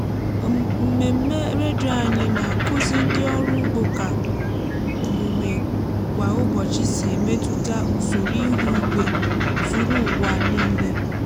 mmemme redio anyị na-akụzi ndị ọrụ ugbo ka omume ka omume kwa ụbọchị si emetụta usoro ihu igwe zuru ụwa nílé